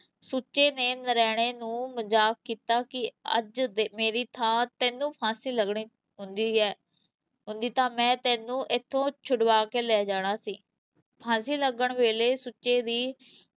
ਸੁੱਚੇ ਨੇ ਨਰੈਣੇ ਨੂੰ ਮਜ਼ਾਕ ਕੀਤਾ ਕਿ ਅੱਜ ਦੇ ਮੇਰੀ ਥਾਂ ਤੈਨੂੰ ਫਾਂਸੀ ਲੱਗਣੀ ਹੁੰਦੀ ਹੈ, ਹੁੰਦੀ ਤਾਂ ਮੈਂ ਤੈਨੂੰ ਇਥੋਂ ਛੁਡਵਾਕੇ ਲੈ ਜਾਣਾ ਸੀ, ਫ਼ਾਂਸੀ ਲੱਗਣ ਵੇਲੇ ਸੁੱਚੇ ਦੀ